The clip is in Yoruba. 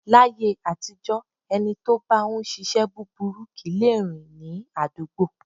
Láyé àtijọ́ ẹni tó bá ń ṣíṣe búburú kì í lè rìn ní àdúgbò.